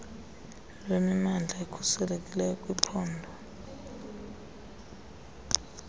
lwemimandla ekhuselekileyo kwiphondo